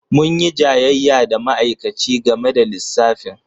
Mun yi jayayya da ma'aikaci game da lissafin.